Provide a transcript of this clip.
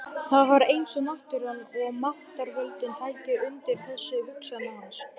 Það var eins og náttúran og máttarvöldin tækju undir þessar hugsanir hans.